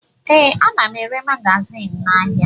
Ee, ana m ere magazin n'ahịa